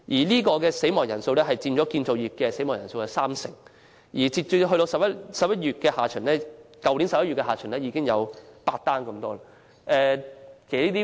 相關死亡人數佔建造業意外死亡人數三成；去年由年初截至11月下旬，相關死亡個案已有8宗之多。